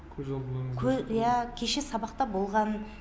иә кеше сабақта болған